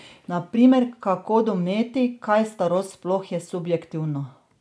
Na primer, kako doumeti, kaj starost sploh je subjektivno?